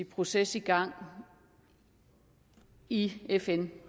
proces i gang i fn